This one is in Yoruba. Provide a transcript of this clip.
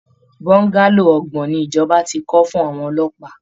Bungalow ọgbọ̀n ni ìjọba ti kọ́ fún àwọn ọlọ́pàá